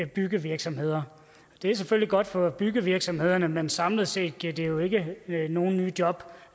byggevirksomheder det er selvfølgelig godt for byggevirksomhederne men samlet set giver det jo ikke nogen nye job